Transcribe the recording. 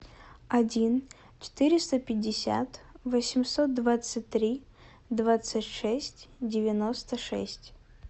один четыреста пятьдесят восемьсот двадцать три двадцать шесть девяносто шесть